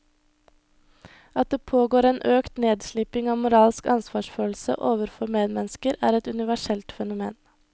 At det pågår en økt nedsliping av moralsk ansvarsfølelse overfor medmennesker er et universelt fenomen.